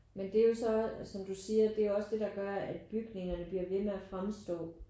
Men det er jo så som du siger det er jo også det der gør at bygningerne bliver ved med at fremstå